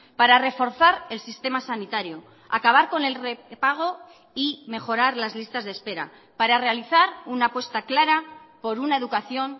para reforzar el sistema sanitario acabar con el repago y mejorar las listas de espera para realizar una apuesta clara por una educación